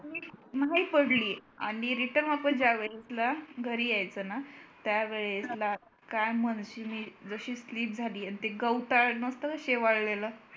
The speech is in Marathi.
म्हणजे पडलीय आणि return वापस ज्या वेळेला घरी येयाचंना त्या वेळेसला काय म्हणते मी जशी slip झाली आणि ते गवताळ नसत शेवाळेलं